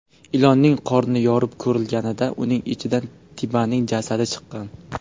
Ilonning qorni yorib ko‘rilganida, uning ichidan Tibaning jasadi chiqqan.